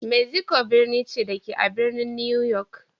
Mexico birni ce, da ke a birnin New York.